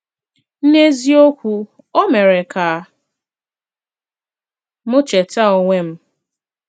N’eziokwu, ò mere ka m chèta onwe m.